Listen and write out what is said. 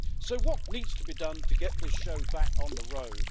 So what needs to be done to get this show back on the road?